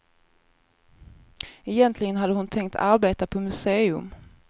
Egentligen hade hon tänkt arbeta på museum.